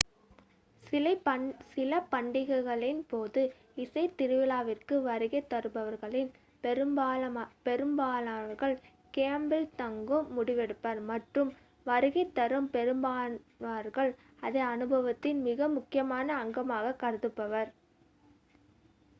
சில பண்டிகைகளின் போது இசை திருவிழாவிற்கு வருகை தருபவர்களில் பெரும்பான்மையானவர்கள் கேம்பில் தங்கும் முடிவெடுப்பர் மற்றும் வருகை தரும் பெரும்பான்மையினர் அதை அனுபவத்தின் மிக முக்கியமான அங்கமாக கருதுவர்